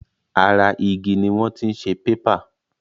Ara igi ni wọ́n ti ń ṣe pépà.